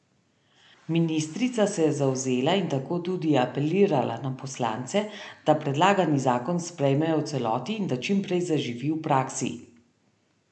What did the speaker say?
Ministrica se je zavzela in tako tudi apelirala na poslance, da predlagani zakon sprejmejo v celoti in da čim prej zaživi v praksi.